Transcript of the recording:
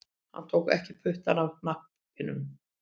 Hann tók ekki puttann af hnappinum